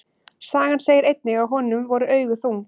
Sagan segir einnig að honum voru augu þung.